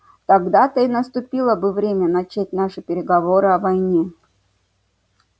тогда-то и наступило бы время начать наши переговоры о войне